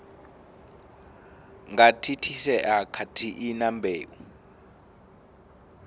nga thithisea khathihi na mbeu